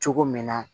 Cogo min na